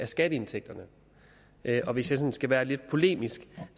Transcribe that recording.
skatteindtægterne og hvis jeg skal være sådan lidt polemisk